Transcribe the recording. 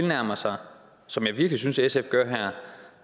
nærmer sig som jeg virkelig synes at sf gør her